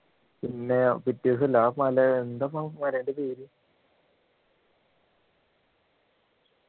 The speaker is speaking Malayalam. പിന്നെ പിറ്റേ ദിവസം അല്ലെ ആ മല എന്താപാ മലേൻ്റെ പേര്